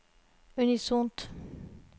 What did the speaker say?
unisont